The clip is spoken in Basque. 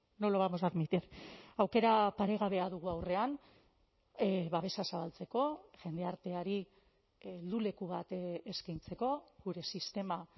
no lo vamos a admitir aukera paregabea dugu aurrean babesa zabaltzeko jendarteari helduleku bat eskaintzeko gure sistema